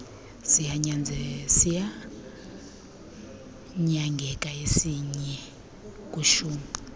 siyanyangeka isinye kwishumi